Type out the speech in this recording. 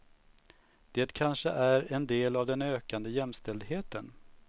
Det kanske är en del av den ökande jämställdheten.